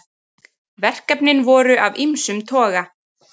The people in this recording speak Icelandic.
Verkefnin voru af ýmsum toga